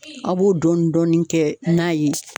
A b'o dɔɔni dɔɔni kɛ n'a ye.